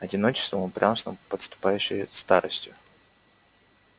одиночеством упрямством подступающей старостью